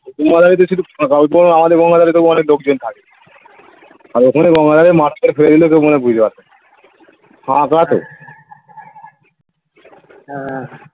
তোমাদের ওই দিকে শুধু ফাঁকা আমাদের গঙ্গার ধরে তবু অনেক লোকজন থাকে আর ওখানে গঙ্গার ধারে . ফেলে দিলেও কেউ মনে হয় বুঝতে পারবে না ফাঁকা তো হ্যাঁ